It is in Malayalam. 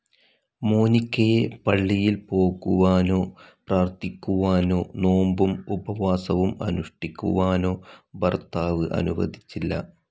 മോനിക്കയെ പള്ളിയിൽ പോകുവാനോ പ്രാർഥിക്കുവാനോ നോമ്പും ഉപവാസവും അനുഷ്ഠിക്കുവാനോ ഭർത്താവ് അനുവദിച്ചില്ല.